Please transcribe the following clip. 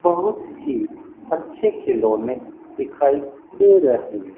बहुत ही अच्छे खिलौने दिखाई दे रहे--